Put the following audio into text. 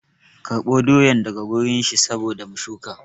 Karɓo doyan daga wurin shi saboda mu shuka